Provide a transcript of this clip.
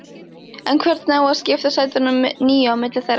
En hvernig á að skipta sætunum níu á milli þeirra?